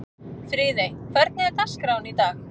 Friðey, hvernig er dagskráin í dag?